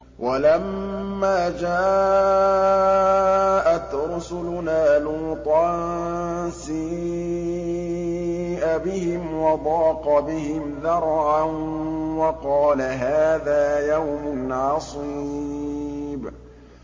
وَلَمَّا جَاءَتْ رُسُلُنَا لُوطًا سِيءَ بِهِمْ وَضَاقَ بِهِمْ ذَرْعًا وَقَالَ هَٰذَا يَوْمٌ عَصِيبٌ